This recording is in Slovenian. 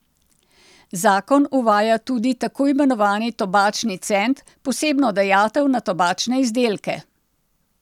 Zakon uvaja tudi takoimenovani tobačni cent, posebno dajatev na tobačne izdelke.